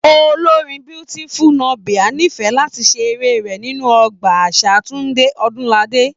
Olórin Beautiful Nubia n'ifẹ̀ láti ṣe eré rẹ nínú Ọgbà àṣà Tunde Odunlade.